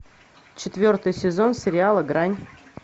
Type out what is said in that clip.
четвертый сезон сериала грань